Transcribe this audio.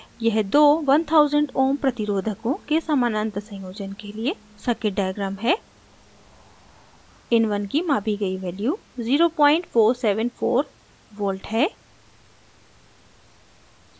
यह दो 1000 ω ohm प्रतिरोधकों के समानांतर संयोजन के लिए circuit diagram है in1 की मापी गई value 0474v है